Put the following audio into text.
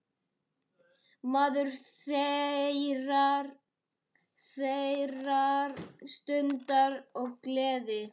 Maður þeirrar stundar og gleði.